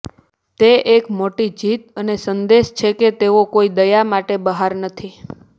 તે એક મોટી જીત અને સંદેશ છે કે તેઓ કોઈ દયા માટે બહાર નથી